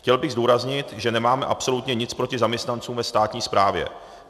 Chtěl bych zdůraznit, že nemáme absolutně nic proti zaměstnancům ve státní správě.